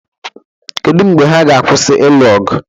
Kedu mgbe ha ga-akwụsị ịlụ ọgụ?